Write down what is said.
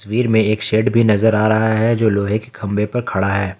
तस्वीर में एक शेड भी नजर आ रहा है जो लोहे के खंभे पर खड़ा है।